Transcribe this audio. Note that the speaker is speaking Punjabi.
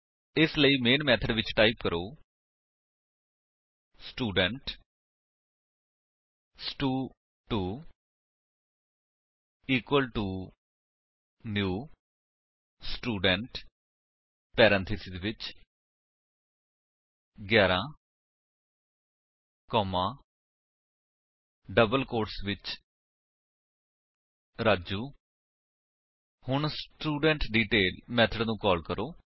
ਇਸ ਲਈ ਮੇਨ ਮੇਥਡ ਵਿੱਚ ਟਾਈਪ ਕਰੋ ਸਟੂਡੈਂਟ ਸਟੂ2 equal to new student parenthesis ਵਿੱਚ 11 ਕੋਮਾ ਡਬਲ ਕੋਟਸ ਵਿੱਚ ਰਾਜੂ ਹੁਣ ਸਟੂਡੈਂਟਡੀਟੇਲ ਮੇਥਡ ਨੂੰ ਕਾਲ ਕਰੋ